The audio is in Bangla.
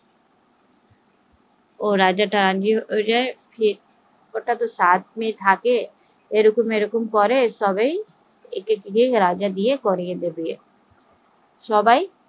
ও সবাই রাজা থাকে, সাত মেয়ে থাকে সবাই এরকম ভাবে বিয়ে করিয়ে দেবে